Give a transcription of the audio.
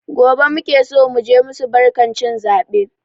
Gobe muke so muje musu barkan cin zaɓe